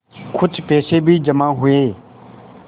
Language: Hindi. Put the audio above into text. कुछ पैसे भी जमा हुए